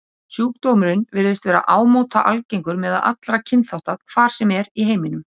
Sjúkdómurinn virðist vera ámóta algengur meðal allra kynþátta, hvar sem er í heiminum.